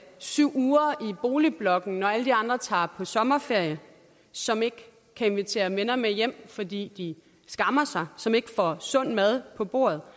syv uger i boligblokken når alle de andre tager på sommerferie som ikke kan invitere venner med hjem fordi de skammer sig som ikke får sund mad på bordet